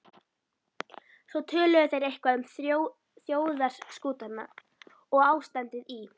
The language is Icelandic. Svo töluðu þeir eitthvað um þjóðarskútuna og ástandið í